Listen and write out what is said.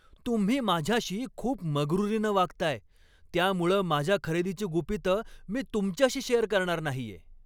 तुम्ही माझ्याशी खूप मगरूरीनं वागताय, त्यामुळं माझ्या खरेदीची गुपितं मी तुमच्याशी शेअर करणार नाहीये.